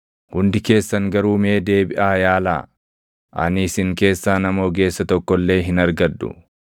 “Hundi keessan garuu mee deebiʼaa yaalaa! Ani isin keessaa nama ogeessa tokko illee hin argadhu.